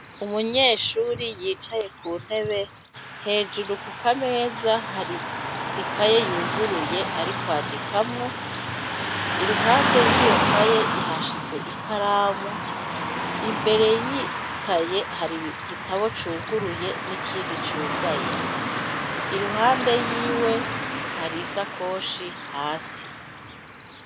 Umunyeshuri yicaye ku ntebe, hejuru ku kameza, hari ikaye yuguruye ari kwandikamwo, iruhande y'iyo kaye yahashize ikaramu, imbere y'ikaye hari igitabo cuguruye n'ikindi cugaye. Iruhande yiwe hari isakoshi hasi.